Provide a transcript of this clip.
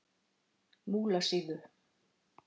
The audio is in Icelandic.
Múlasíðu